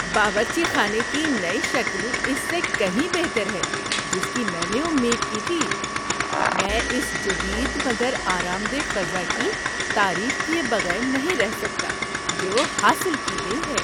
باورچی خانے کی نئی شکل اس سے کہیں بہتر ہے جس کی میں نے امید کی تھی۔ میں اس جدید مگر آرام دہ فضا کی تعریف کیے بغیر نہیں رہ سکتا جو حاصل کی گئی ہے۔